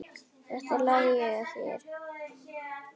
Þetta lærði ég af þér.